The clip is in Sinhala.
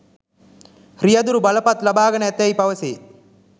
රියැදුරු බලපත් ලබාගෙන ඇතැයිද පැවසේ